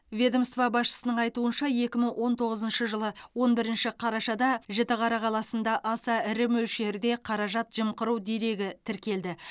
ведомство басшысының айтуынша екі мың он тоғызыншы жылы он бірінші қарашада жітіқара қаласында аса ірі мөлшерде қаражат жымқыру дерегі тіркелді